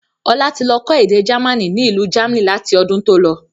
Ọlá tí lọ kọ́ èdè jamaní ni ilu jamni láti ọdún tó lọ.